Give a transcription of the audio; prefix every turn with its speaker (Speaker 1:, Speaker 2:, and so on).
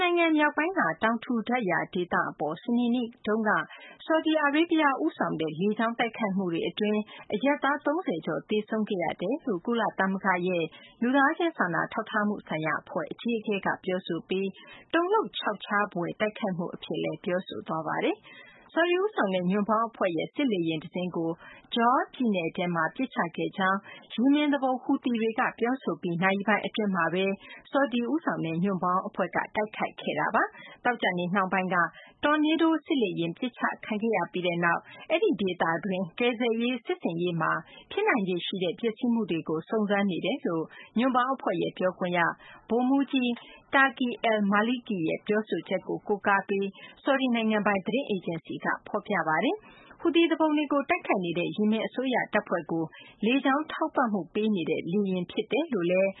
Speaker 1: နိုင်ငံ မြောက်ပိုင်းက တောင်ထူထပ်ရာ ဒေသအပေါ် စနေနေ့က ဆော်ဒီအာရေဗျ ဦးဆောင်တဲ့ လေကြောင်းတိုက်ခိုက်မှုတွေအတွင်း အရပ်သား ၃၀ ကျော် သေဆုံးကြောင်း ကုလသမဂ္ဂရဲ့ လူသားချင်း စာနာထောက်ထားမှုဆိုင်ရာ အဖွဲ့ အကြီးအကဲက ပြောဆိုပြီး တုန်လှုပ်ချောက်ချားဖွယ် တိုက်ခိုက်မှုအဖြစ် သုံးနှုန်း ပြောဆိုသွားပါတယ်။ ဆော်ဒီဦးဆောင်တဲ့ ညွန့်ပေါင်းအဖွဲ့ရဲ့ စစ်လေယာဉ်တစင်းကို Jawf ပြည်နယ်ထဲမှာ ပစ်ချခဲ့ကြောင်း ယီမင်သူပုန် ဟူသီတွေက ပြောဆိုပြီး နာရီပိုင်းအတွင်းမှာပဲ ဆော်ဒီဦးဆောင်တဲ့ ညွန့်ပေါင်းအဖွဲ့က တိုက်ခိုက်ခဲ့တာပါ။ သောကြာနေ့ နှောင်းပိုင်းက Tornado စစ်လေယာဉ် ပစ်ချခံခဲ့ရပြီးနောက် အဲဒီ ဒေသတွင်း ကယ်ဆယ်ရေး စစ်ဆင်ရေးမှာ ဖြစ်နိုင်ခြေရှိတဲ့ ပျက်စီးမှုတွေကို စုံစမ်းနေတယ်လို့ ညွန့်ပေါင်းအဖွဲ့ ပြောခွင့်ရ ဗိုလ်မှူးကြီး Turki al-Maliki ရဲ့ ပြောဆိုချက်ကို ကိုးကားပြီး ဆော်ဒီနိုင်ငံပိုင် သတင်းအေဂျင်စီက ဖော်ပြပါတယ်။ ဟူသီသူပုန်တွေကို တိုက်ခိုက်နေတဲ့ ယီမင်အစိုးရ တပ်ဖွဲ့တွေကို လေကြောင်းထောက်ပံ့မှု ပေးနေတဲ့လ
Speaker 2: ေယာဉ် ဖြစ်တယ်လို့လည်း